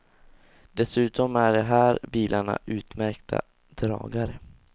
Dessutom är de här bilarna utmärkta dragare.